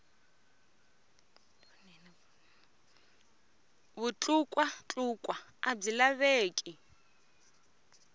vutlukwa tlukwa a byi laveki